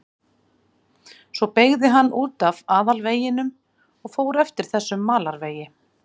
Svo beygði hann út af aðalveginum og fór eftir þessum malarvegi.